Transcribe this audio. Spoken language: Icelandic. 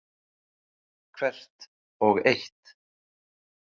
Hvert og eitt.